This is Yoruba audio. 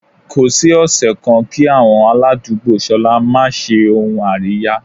Kò sí ọ̀sẹ̀ kan kí àwọn aládùúgbò ṣolá máa ṣe ohun àríyá.